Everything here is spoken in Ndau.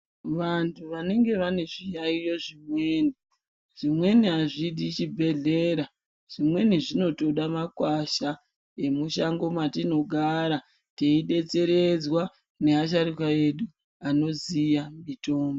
Vantu vanenge vane zviyaiyo zvimweni, zvimweni azvidi chibhedhlera, zvimweni zvinotoda makwasha emushango mwatinogara, teidetseredzwa neasharuka edu ,anoziya mitombo.